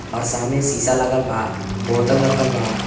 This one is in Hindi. और सामने सीसा लागलबा बोतल रखलवा।